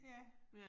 Ja